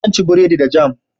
Zan ci buredi da jam